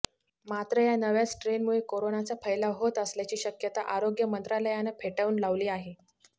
मात्र या नव्या स्ट्रेनमुळे कोरोनाचा फैलाव होत असल्याची शक्यता आरोग्य मंत्रालयानं फेटाळून लावली आहे